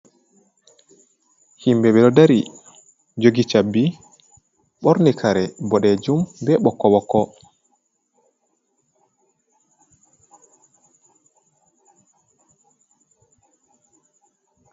Himɓe ɓe ɗo dari, jogi chabbi, ɓorni kare boɗejum, be ɓokko-ɓokko.